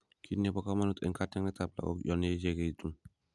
Kitnebo komonut eng katyaknatet ab lagok yonyechekitun